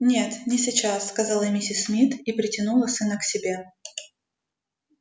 нет не сейчас сказала миссис мид и притянула сына к себе